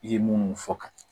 I ye munnu fɔ ka